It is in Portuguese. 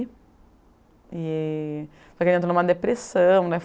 E só que ele entrou em uma depressão.